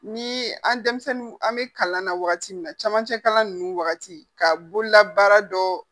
Ni an denmisɛnnin an bɛ kalan na wagati min na camancɛ kalan ninnu wagati ka bololabaara dɔ